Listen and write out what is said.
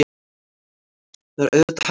Það er auðvitað hægt.